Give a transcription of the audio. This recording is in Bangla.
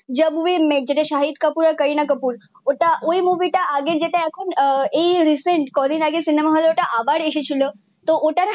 যাব ওই মেট যেটা শহীদ কাপুর আর কারিনা কাপুর ওটা ওই মুভি টা আগে যেটা এখন এই রিসেন্ট কয়ে দিন আগে ওটা সিনেমা হল এ আবার এসে ছিল তো ওটার